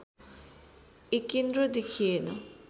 एकेन्द्र देखिएन